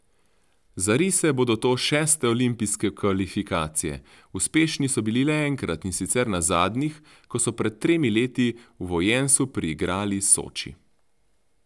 Za rise bodo to šeste olimpijske kvalifikacije, uspešni so bili le enkrat, in sicer na zadnjih, ko so pred tremi leti v Vojensu priigrali Soči.